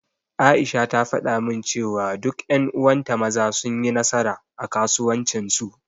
Aisha ta faɗa min cewa duk ƴan uwan ta Maza sun yi nasara, a kasuwancin su.